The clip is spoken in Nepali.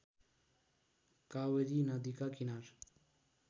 कावेरी नदीका किनार